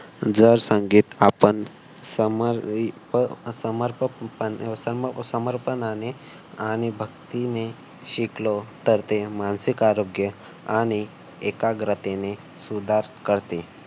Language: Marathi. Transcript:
जर संगीत आपण समर्पक समर्पणाने आणि भक्तीने शिकलो. तर ते मानसिक आरोग्य आणि एकाग्रतेने सुधार करते.